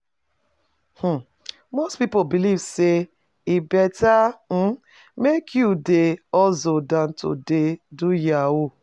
um Most people believe say he better um make you dey hustle than to dey do yahoo